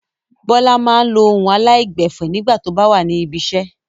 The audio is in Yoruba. Bọ́lá máa ń lo ohùn aláìgbẹ̀fẹ̀ nígbà tó bá wà ní ibiṣẹ́.